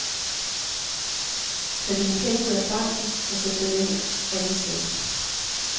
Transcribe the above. Tag dine penge ud af banken og sæt dem ind et andet sted.